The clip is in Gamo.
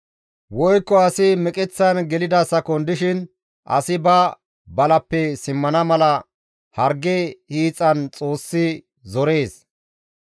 Woykko asi meqeththan gelida sakon dishin asi ba balappe simmana mala harge hiixan Xoossi zorees.